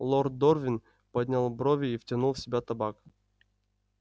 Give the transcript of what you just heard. лорд дорвин поднял брови и втянул в себя табак